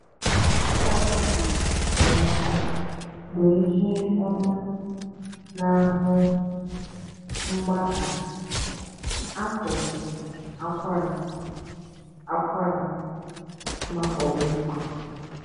Kọkọ um bụ ihe ọma n’ahụ́ mgbagha (akụkụ akwara, akwara) ma ọ bụkwa.